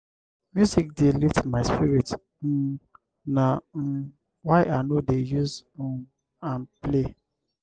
music dey lift my spirit um na um why i no dey use um am play.